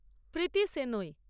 Preity Shenoy